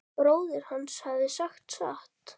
Bróðir hans hafði sagt satt.